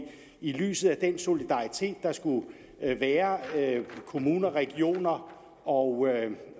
i lyset af den solidaritet der skulle være kommuner regioner og